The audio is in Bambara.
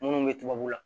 Munnu be tubabu la